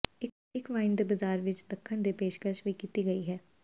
ਇੱਕ ਵਾਈਨ ਦੇ ਬਾਜ਼ਾਰ ਵਿੱਚ ਚੱਖਣ ਦੀ ਪੇਸ਼ਕਸ਼ ਵੀ ਕੀਤੀ ਗਈ ਹੈ